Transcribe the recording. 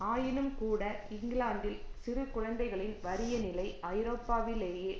ஆயினும்கூட இங்கிலாந்தில் சிறு குழந்தைகளின் வறிய நிலை ஐரோப்பாவிலேயே